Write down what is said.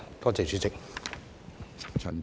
多謝主席。